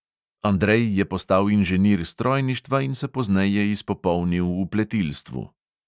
Andrej je postal inženir strojništva in se pozneje izpopolnil v pletilstvu.